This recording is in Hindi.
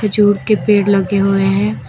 खजूर के पेड़ लगे हुए हैं।